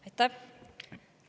Aitäh!